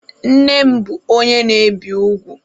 Nne m bụ onye na-ebi ugwu.